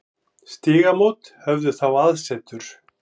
Stígamót höfðu þá aðsetur.